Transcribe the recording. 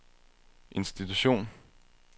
institution